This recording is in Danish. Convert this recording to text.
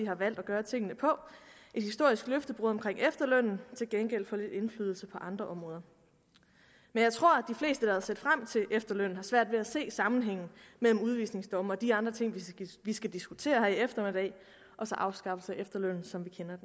har valgt at gøre tingene på et historisk løftebrud omkring efterlønnen til gengæld for lidt indflydelse på andre områder men jeg tror at set frem til efterlønnen har svært ved at se sammenhængen mellem udvisningsdomme og de andre ting vi skal diskutere her i eftermiddag og så afskaffelse af efterlønnen som vi kender